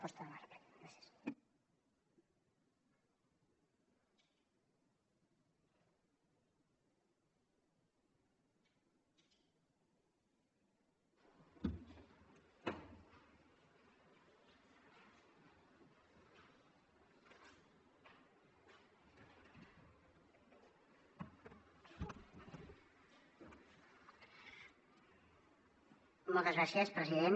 moltes gràcies president